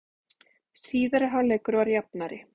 Síðari hálfleikur var jafnari